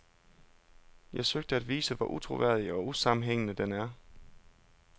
Jeg søgte at vise, hvor utroværdig og usammenhængende den er.